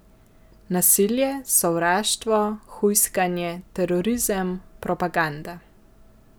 Nasilje, sovraštvo, hujskanje, terorizem, propaganda.